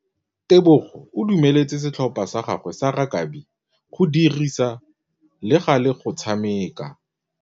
Tebogô o dumeletse setlhopha sa gagwe sa rakabi go dirisa le galê go tshameka.